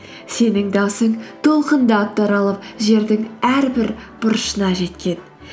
сенің дауысың толқындап таралып жердің әрбір бұрышына жеткен